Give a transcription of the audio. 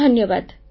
phone call ଶେଷ